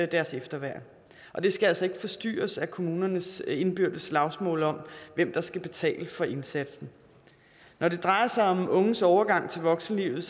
deres efterværn det skal altså ikke forstyrres af kommunernes indbyrdes slagsmål om hvem der skal betale for indsatsen når det drejer sig om unges overgang til voksenlivet